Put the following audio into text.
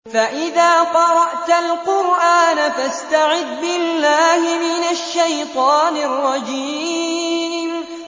فَإِذَا قَرَأْتَ الْقُرْآنَ فَاسْتَعِذْ بِاللَّهِ مِنَ الشَّيْطَانِ الرَّجِيمِ